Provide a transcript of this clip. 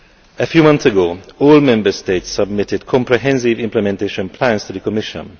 A few months ago, all Member States submitted comprehensive implementation plans to the Commission.